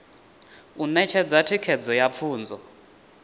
u ṋetshedza thikedzo ya pfunzo